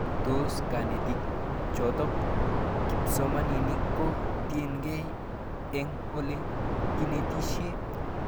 Tos kanetik chetoko kipsomanik ko tiekei eng' ole inetishe